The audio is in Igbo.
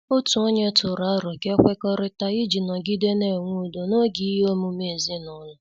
Otu ọnye tụrụ aro ka e kwekọrịta iji nọgide na-enwe udo n'oge ihe omume ezinụlọ.